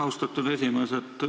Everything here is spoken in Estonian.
Austatud esimees!